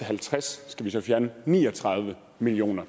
halvtreds skal vi så fjerne ni og tredive million